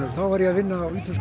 þá var ég að vinna á ítölskum